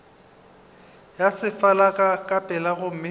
ya sefala ka pela gomme